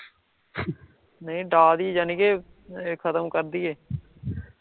ਨਹੀਂ ਡਾ ਦੀਏ ਯਾਨੀ ਕੇ ਖਤਮ ਕਰ ਦੀਏ